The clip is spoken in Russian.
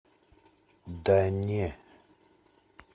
да не